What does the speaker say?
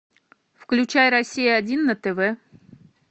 включай россия один на тв